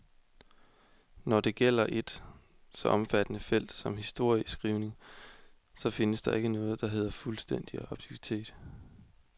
Når det gælder et så omfattende felt som historieskrivningen, så findes der ikke noget, der hedder fuldstændig objektivitet.